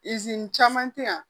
caman tɛ yan